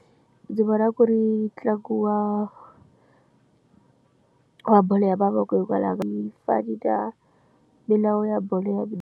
Ndzi vona ku ri ntlangu wa bolo ya mavoko hikwalaho ka yi fani na milawu ya bolo ya mi.